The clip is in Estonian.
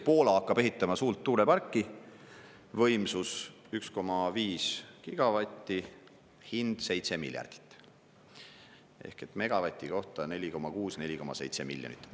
Poola hakkab ehitama suurt tuuleparki, võimsus 1,5 gigavatti, hind 7 miljardit eurot, ehk et megavati kohta 4,6–4,7 miljonit eurot.